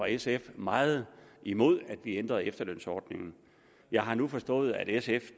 sf jo meget imod at vi ændrede efterlønsordningen jeg har nu forstået at sf